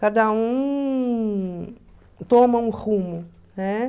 Cada um toma um rumo, né?